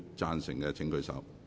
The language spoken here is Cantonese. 贊成的請舉手。